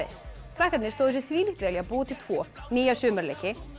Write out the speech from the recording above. krakkarnir stóðu sig þvílíkt vel í að búa til tvo nýja